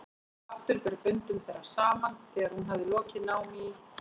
Aftur ber fundum þeirra saman þegar hún hafði lokið námi í